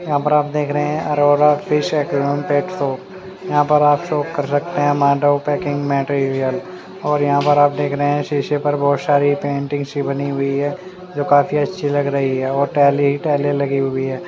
यहाँ पर आप देख रहे है अरोरा यहाँ पर आप शॉप कर सकते है मांडव पैकिंग मटेरियल और यहाँ पर आप देख रहे है शीशे बहोत सारे पेंटिंग्स सी बनी हुई है काफी अच्छी लग रही है और टाइले टाइले लगी हुई है।